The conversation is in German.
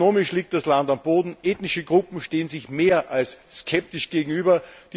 Ökonomisch liegt das Land am Boden. Ethnische Gruppen stehen sich mehr als skeptisch gegenüber.